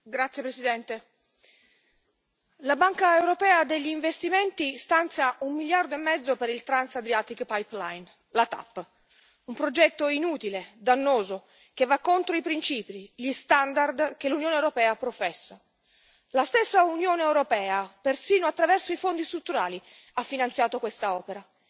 Signor Presidente, onorevoli colleghi, la Banca europea per gli investimenti stanzia un miliardo e mezzo per il la TAP. Un progetto inutile, dannoso, che va contro i principi, gli standard che l'Unione europea professa. La stessa Unione europea, persino attraverso i Fondi strutturali, ha finanziato questa opera.